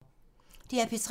DR P3